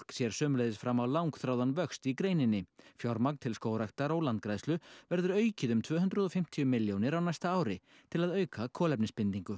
sér sömuleiðs fram á langþráðan vöxt í greininni fjármagn til skógræktar og landgræðslu verður aukið um tvö hundruð og fimmtíu milljónir á næsta ári til að auka kolefnisbindingu